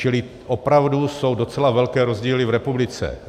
Čili opravdu jsou docela velké rozdíly v republice.